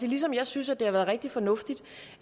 ligesom jeg synes det har været rigtig fornuftigt